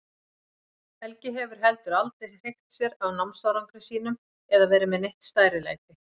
Helgi hefur heldur aldrei hreykt sér af námsárangri sínum eða verið með neitt stærilæti.